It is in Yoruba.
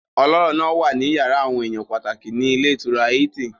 Ọlọ́rọ̀ náà wà ní yàrá àwọn èèyàn pàtàkì ní ilé ìtura Hilton